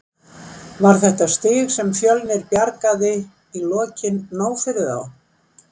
Var þetta stig sem Fjölnir bjargaði í lokin nóg fyrir þá?